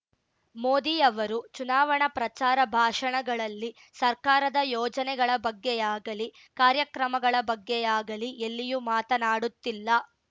ಮೋದಿ ಅವರು ಚುನಾವಣಾ ಪ್ರಚಾರ ಭಾಷಣಗಳಲ್ಲಿ ಸರ್ಕಾರದ ಯೋಜನೆಗಳ ಬಗ್ಗೆಯಾಗಲಿ ಕಾರ್ಯಕ್ರಮಗಳ ಬಗ್ಗೆಯಾಗಲಿ ಎಲ್ಲಿಯೂ ಮಾತನಾಡುತ್ತಿಲ್ಲ